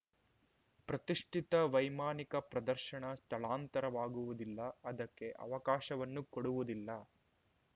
ಪ್ರತಿಷ್ಠಿತ ವೈಮಾನಿಕ ಪ್ರದರ್ಶನ ಸ್ಥಳಾಂತರವಾಗುವುದಿಲ್ಲ ಅದಕ್ಕೆ ಅವಕಾಶವನ್ನೂ ಕೊಡುವುದಿಲ್ಲ